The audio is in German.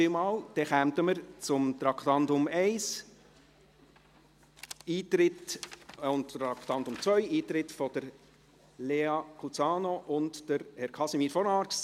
Somit kommen wir zu den Traktanden 1 und 3, Eintritt von Lea Kusano und von Casimir von Arx.